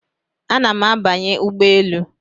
Ana m abanye ụgbọ elu